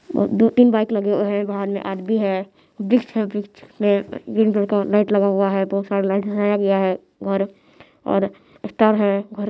और दो तीन बाइक लगे हुए हैं बाहर में आदमी है वृक्ष है वृक्ष में का लाइट लगा हुआ है बहुत सारे लाइट लगाया है और और स्टार है।